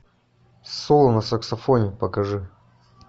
соло на саксофоне покажи